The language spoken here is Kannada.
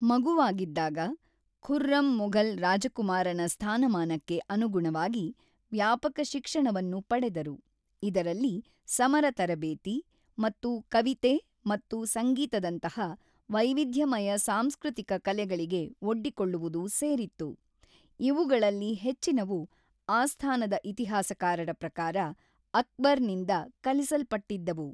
ಮಗುವಾಗಿದ್ದಾಗ, ಖುರ್ರಮ್ ಮೊಘಲ್ ರಾಜಕುಮಾರನ ಸ್ಥಾನಮಾನಕ್ಕೆ ಅನುಗುಣವಾಗಿ ವ್ಯಾಪಕ ಶಿಕ್ಷಣವನ್ನು ಪಡೆದರು, ಇದರಲ್ಲಿ ಸಮರ ತರಬೇತಿ ಮತ್ತು ಕವಿತೆ ಮತ್ತು ಸಂಗೀತದಂತಹ ವೈವಿಧ್ಯಮಯ ಸಾಂಸ್ಕೃತಿಕ ಕಲೆಗಳಿಗೆ ಒಡ್ಡಿಕೊಳ್ಳುವುದು ಸೇರಿತ್ತು, ಇವುಗಳಲ್ಲಿ ಹೆಚ್ಚಿನವು, ಆಸ್ಥಾನದ ಇತಿಹಾಸಕಾರರ ಪ್ರಕಾರ, ಅಕ್ಬರ್‌ನಿಂದ ಕಲಿಸಲ್ಪಟ್ಟಿದ್ದವು.